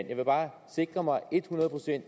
jeg vil bare sikre mig